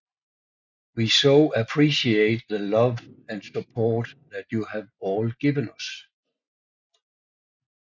We so appreciate the love and support that you have all given us